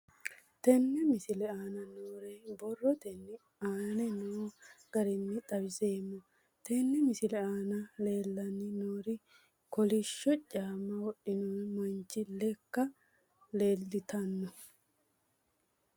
Tenne misile aana noore borrotenni aane noo garinni xawiseemo. Tenne misile aana leelanni nooerri kollishsho caama wodhinno manchi lekka leeltanno.